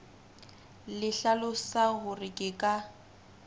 le hlalosang hore ke ka